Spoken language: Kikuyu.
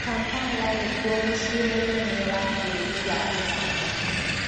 Kampala nĩkũo mucĩĩ mũnene wa Bũrũri wa Ũganda